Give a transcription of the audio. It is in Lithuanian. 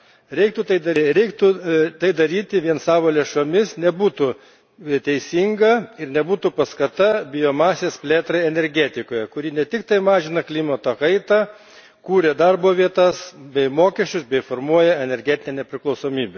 Jei reikėtų tai daryti vien savo lėšomis, nebūtų tai teisinga ir nebūtų paskata biomasės plėtrai energetikoje, kuri ne tik mažina klimato kaitą, bet ir kuria darbo vietas bei mokesčius ir formuoja energetinę nepriklausomybę.